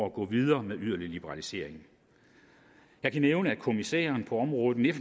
at gå videre med yderligere liberalisering jeg kan nævne at kommissæren på området